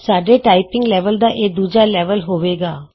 ਸਾਡੇ typing lesson ਦਾ ਇਹ ਦੂਜਾ ਲੈਵਲ ਹੋਏਗਾ